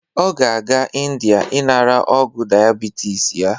Ọ ga-aga Ịndia inara ọgwu diabitis ya.